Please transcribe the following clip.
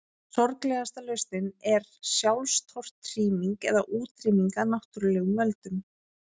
Sorglegasta lausnin er sjálfstortíming eða útrýming af náttúrulegum völdum.